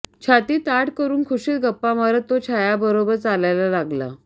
छाती ताठ करुन खूशीत गप्पा मारत तो छायाबरोबर चालायला लागला